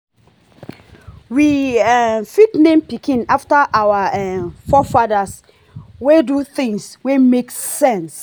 we um fit name pikin after our um forefathers wey do things wey make sense